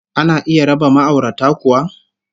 Ana iya raba ma'aurata kuwa?